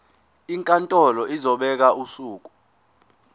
inkantolo izobeka usuku